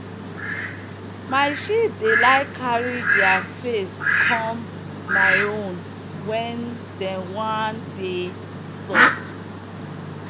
my sheep dey like carry deir face come my own when dem one dey soft.